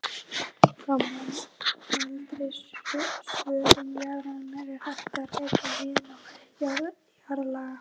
Frá mældri svörun jarðarinnar er hægt að reikna viðnám jarðlaga.